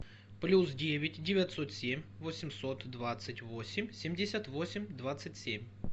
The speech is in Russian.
плюс девять девятьсот семь восемьсот двадцать восемь семьдесят восемь двадцать семь